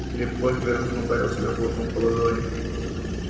лепольд радостно ударил себе кулаком по ладони